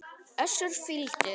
Össur fýldur.